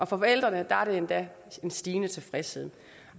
forældrene er der endda en stigende tilfredshed